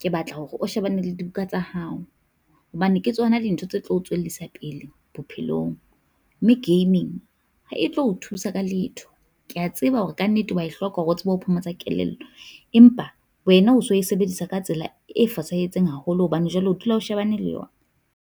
ke batla hore o shebane le dibuka tsa hao, hobane ke tsona dintho tse tlo o tswellisa pele bophelong. Mme gaming ha e tlo o thusa ka letho, kea tseba hore kannete wa e hloka hore o tsebe ho phomotsa kelello, empa wena o so e sebedisa ka tsela e fosahetseng haholo hobane jwale o dula o shebane le yona.